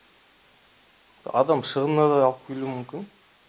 адам шығынына да алып келуі мүмкін